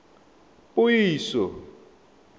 puiso